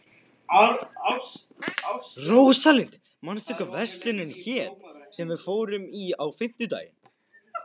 Rósalind, manstu hvað verslunin hét sem við fórum í á fimmtudaginn?